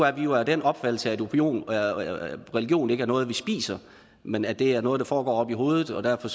at vi jo er af den opfattelse at religion ikke er noget man spiser men at det er noget der foregår oppe i hovedet og derfor